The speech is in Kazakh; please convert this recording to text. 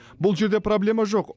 бұл жерде проблема жоқ